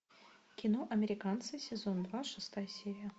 кино американцы сезон два шестая серия